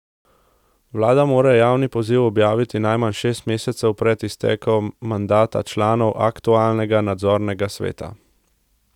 Vlada mora javni poziv objaviti najmanj šest mesecev pred iztekom mandata članov aktualnega nadzornega sveta.